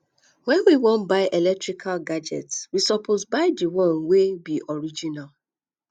when we wan buy electrical gadgets we suppose buy di one wey be original